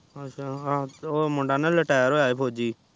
ਅੱਛਾ ਉਹ ਮੁੰਡਾ ਨਾ retire ਹੋਇਆ ਆ ਫੋਜਜੀ